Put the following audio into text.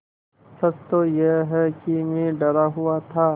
सच तो यह है कि मैं डरा हुआ था